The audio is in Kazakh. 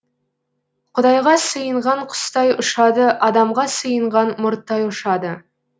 құдайға сыйынған құстай ұшады адамға сыйынған мұрттай ұшады